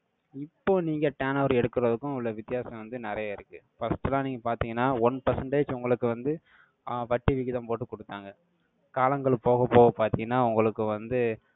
இப்போ, நீங்க turn over எடுக்கறதுக்கும், உள்ள வித்தியாசம் வந்து, நிறைய இருக்கு. First லாம், நீங்க பாத்தீங்கன்னா, one percentage உங்களுக்கு வந்து, ஆஹ் வட்டி விகிதம், போட்டு குடுத்தாங்க காலங்கள் போகப் போக பார்த்தீங்கன்னா, உங்களுக்கு வந்து,